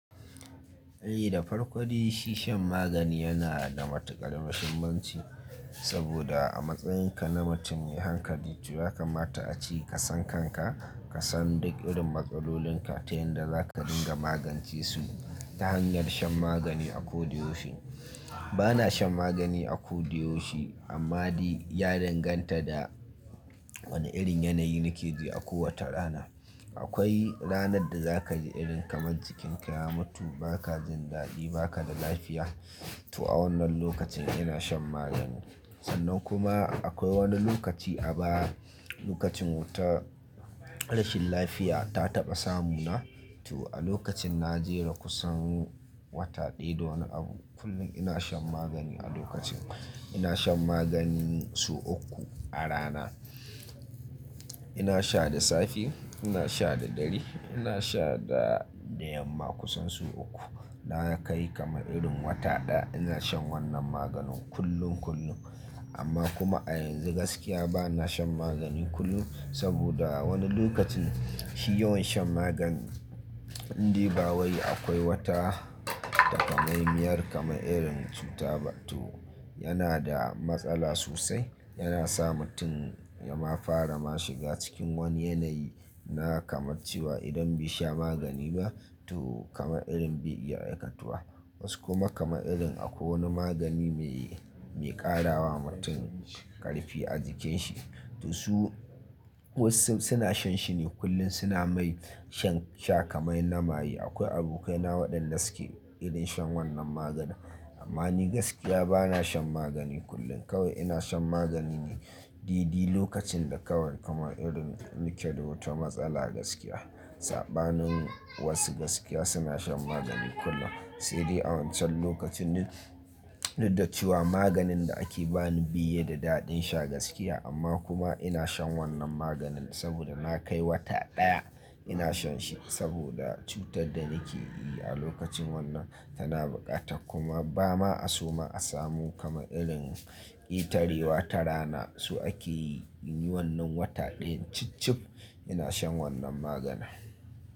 Eh da farko dai, shi shan magani yana da matuƙar mashummanci saboda a matsayinka na mutum me hankali to ya kamata a ce ka san kanka, ka san duk irin matsalolin ka ta yayin da zaka dinga magance su ta hanyar shan magani a ko da yaushe. Bana shan magani a ko da yaushe amma dai ya danganta da wani irin yanayi nake ji a kowace rana. Akwai ranar da zaka ji irin kamar jikinka ya mutu, ba ka jin daɗi, ba ka da lafiya to a wannan lokacin ina shan magani. Sannan kuma akwai wani lokaci a ba lokacin wata rashin lafiya ta taɓa samu na to a lokacin na jera kusan wata ɗaya da wani abu kullum ina shan magani a lokacin. Ina shan magani sau uku a rana ina sha da safe, ina sha da dare, ina sha da da yamma kusan sau uku. Na kai kamar irin wata ɗaya ina shan wannan maganin kullum kullum. Amma kuma a yanzu gaskiya bana shan magani kullum saboda a wani lokacin shi yawan shan maganin in dai bawai akwai wata takamaimiyar kamar irin cuta to yana da matsala sosai. Yana sa mutum ya ma fara ma shiga cikin wani yanayi na kamar cewa idan bai sha magani ba to kamar irin bai iya aikatuwa. Wasu kuma kamar irin akwai wani magani mai, mai ƙarawa mutum ƙarfi a jikin shi to su wasu suna shan shi ne kullum suna mai sha kamar na maye. Akwai abokaina waɗanda suke irin shan wannan maganin amma ni gaskiya bana shan magani kullum kawai ina shan magani ne daidai lokacin da kawai kamar irin nike da wata matsala gaskiya. Saɓanin wasu gaskiya suna shan magani kullum. Sai dai a wancan lokacin didda da cewa maganin da ake bani bai yi da daɗin sha gaskiya amma kuma ina shan wannan maganin saboda na kai wata ɗaya ina shan shi saboda cutar da nake yi a lokacin wannan tana buƙata kuma ba ma a so ma a samu kamar irin ketarewa ta rana so ake yi inyi wannan wata ɗayan cib cib ina shan wannan maganin.